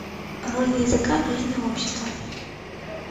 роль языка в жизни общества